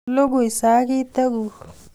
Lugui sagiteguk